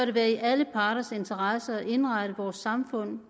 det være i alle parters interesse at indrette vores samfund